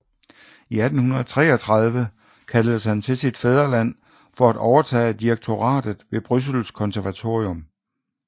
I 1833 kaldtes han til sit fædreland for at overtage direktoratet ved Bryssels Konservatorium